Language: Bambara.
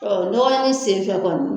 Ɔ ɲɔgɔn ye sen fɛn kɔni.